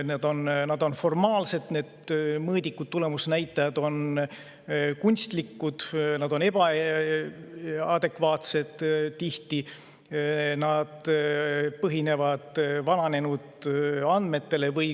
Mõõdikud on formaalsed, tulemusnäitajad on kunstlikud ja ebaadekvaatsed ning tihti põhinevad need vananenud andmetel.